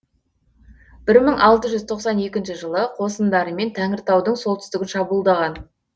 бір мың алты жүз тоқсан екінші қосындарымен тәңіртаудың солтүстігін шабуылдаған